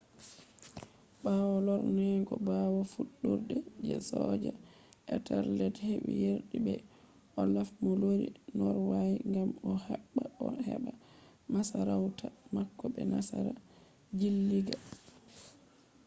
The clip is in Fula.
ɓawo lorneego ɓawo fuɗɗurde je soja ethelred heɓi yerdi be olaf mo lori norway gam o habda o heɓa masarauta mako be nasara jilliiga